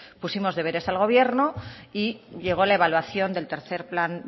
pusimos deberes al gobierno y llegó la evaluación del tercero plan